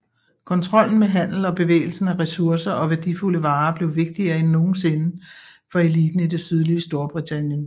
Kontrollen med handel og bevægelsen af ressourcer og værdifulde varer blev vigtigere end nogensinde for eliten i det sydlige Storbritannien